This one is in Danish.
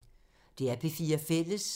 DR P4 Fælles